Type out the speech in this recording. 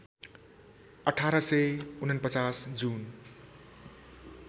१८४९ जुन